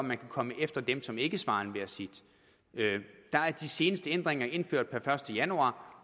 man kan komme efter dem som ikke svarer enhver sit de seneste ændringer er indført per første januar